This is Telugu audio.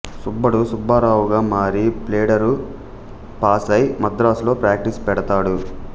సుబ్బడు సుబ్బారావుగా మారి ప్లీడరు పాసై మద్రాసులో ప్రాక్టీసు పెడతాడు